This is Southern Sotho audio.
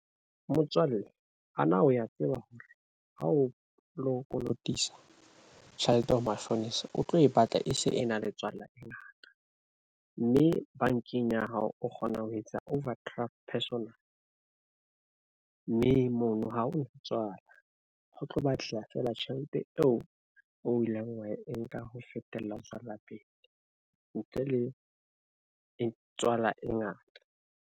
Motswalle ho na o ya tseba hore ha o lo kolotisa tjhelete ho mashonisa, o tlo e batla e se e na le tswala e ngata mme bankeng ya hao o kgona ho etsa overdraft personal mme mono ha ho tswala ho tlo batleha feela tjhelete eo o ileng wa e nka ho fetela ho tswela pele ntle le e tswala e ngata.